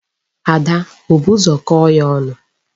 Ada o bu ụzọ kọọ ya ọnụ?